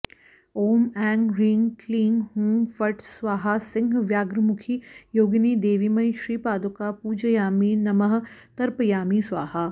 ॐ ऐं ह्रीं क्लीं हूं फट् स्वाहा सिंह व्याघ्रमुखी योगिनिदेवीमयी श्रीपादुकां पूजयामि नमः तर्पयामि स्वाहा